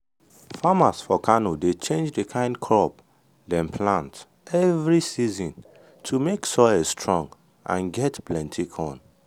farmers for kano dey change the kind crop dem plant every season to make soil strong and get plenty corn.